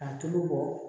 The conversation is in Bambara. A tulu bɔ